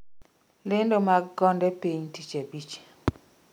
lendo mag konde piny tich abich